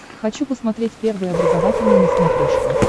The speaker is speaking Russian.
хочу посмотреть первый образовательный на смотрешке